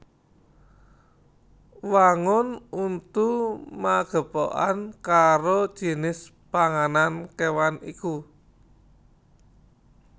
Wangun untu magepokan karo jinis panganan kéwan iku